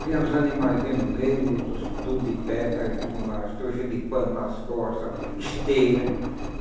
Tinha uns animaizinhos no meio, outros tudo de pé, com as trouxas de pano nas costas, esteira.